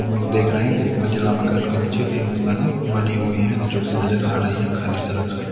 हम लोग देख रहे हैं कि एक मंजिला मकान के नीचे तीन दुकानें बनी हुई हैं जो कि नजर आ रही है खाली सड़क से।